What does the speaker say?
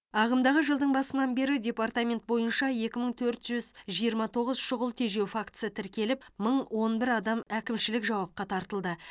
ағымдағы жылдың басынан бері департамент бойынша екі мың төрт жүз жиырма тоғыз шұғыл тежеу фактісі тіркеліп мың он бір адам әкімшілік жауапқа тартылды